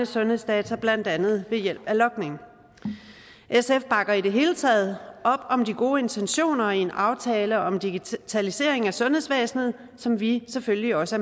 sundhedsdata blandt andet ved hjælp af logning sf bakker i det hele taget op om de gode intentioner i en aftale om digitalisering af sundhedsvæsenet som vi selvfølgelig også